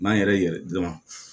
N'an yɛrɛ yɛlɛ